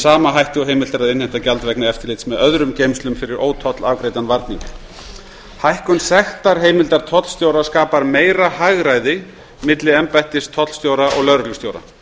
sama hætti og heimilt er að innheimta gjald vegna eftirlits með öðrum geymslum fyrir ótollafgreiddan varning hækkun sektarheimildar tollstjóra skapar meira hagræði milli embættis tollstjóra og lögreglustjóra